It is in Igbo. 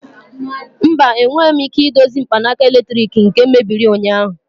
Mba, enweghị m ike idozi mkpanaka eletrik nke mebiri ụnyaahụ.